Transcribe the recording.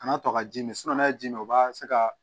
Kana to ka ji min n'a ye ji min o b'a se ka